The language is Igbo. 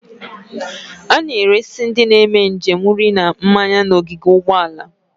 A na-eresi ndị na-eme njem nri na mmanya n'ogige ụgbọala.